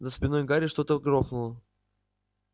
за спиной гарри что-то грохнуло